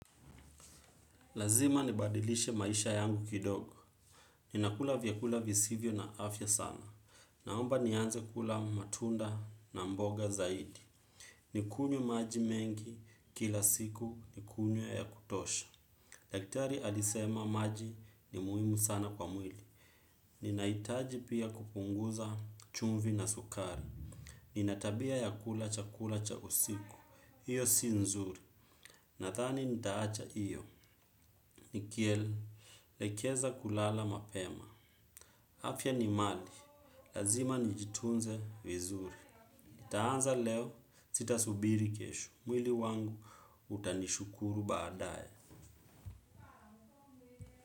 Lazima nibadilishe maisha yangu kidogo. Ninakula vyakula visivyo na afya sana. Naomba nianze kula matunda na mboga zaidi. Nikunywe maji mengi kila siku nikunywe ya kutosha. Daktari alisema maji ni muhimu sana kwa mwili. Ninahitaji pia kupunguza chumvi na sukari. Nina tabia ya kula chakula cha usiku. Iyo si nzuri. Nadhani nitaacha iyo. Nikielekeza kulala mapema afya ni mali, lazima nijitunze vizuri. Itaanza leo, sitasubiri kesho. Mwili wangu, utanishukuru baadaye.